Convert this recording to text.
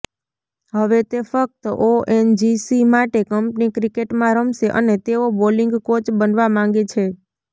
હવે તે ફક્ત ઓએનજીસી માટે કંપની ક્રિકેટમાં રમશે અને તેઓ બોલિંગ કોચ બનવા માંગે છે